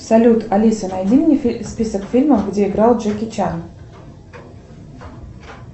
салют алиса найди мне список фильмов где играл джеки чан